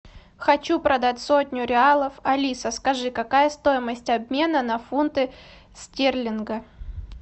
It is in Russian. хочу продать сотню реалов алиса скажи какая стоимость обмена на фунты стерлингов